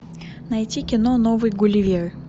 найти кино новый гулливер